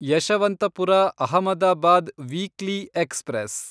Yeshwanthpur Ahmedabad weekly express